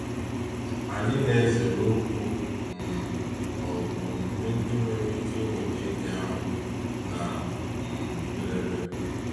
Anyị na ezere okwu um ma ọ bụ omume ndị nwere ike inweta enyi ahụ na um njedebe.